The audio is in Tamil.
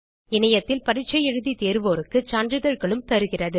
இணையத்தில் பரிட்சை எழுதி தேர்வோருக்கு சான்றிதழ்களும் தருகிறது